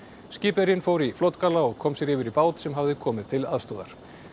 skipverjinn fór í flotgalla og kom sér yfir í bát sem hafði komið til aðstoðar